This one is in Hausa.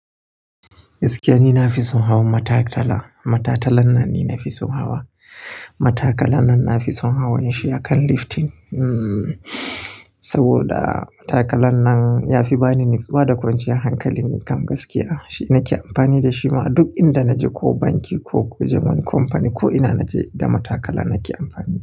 Gaskiya ni na fi son hawan matakala. Matatalan nan ne na fi son hawa. Matakalan nan na fi son hawa, shi ya kan lifting. Hmmm saboda matakalan nan ya fi bani natsuwa da kwanciyar hankali, ni kam gaskiya shi na ke amfani da shi ma duk inda na je, ko banki ko zuwa wani kamfani ko ina na je da matakala na ke amfani da shi.